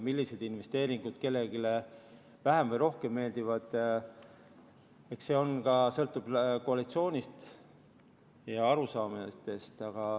Milliseid investeeringuid kellelegi vähem või rohkem meeldivad, eks see sõltub ka koalitsioonist ja arusaamistest.